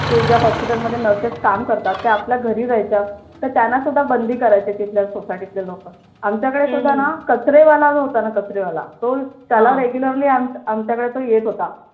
ते ज्या hospital मधे nurses काम करतात त्या आपल्या घरी जायच्या तर त्यांना सुद्धा बंदी करायचे तिथल्या society ले लोक आमच्याकडे सुद्धा ना कचरेवाला जो होता ना कचरेवाला तो त्याला regularly आमच्याकडे तो येत होता